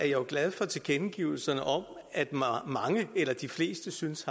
jo glad for tilkendegivelserne om at mange eller de fleste synes